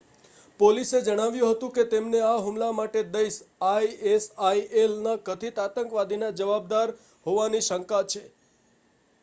પોલીસે જણાવ્યું હતું કે તેમને આ હુમલા માટે દાઈશ આઈએસઆઈએલ ના કથિત આતંકવાદીના જવાબદાર હોવાની શંકા છે